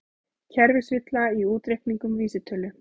Kerfisvilla í útreikningum vísitölu